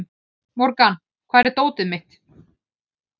Morgan, hvar er dótið mitt?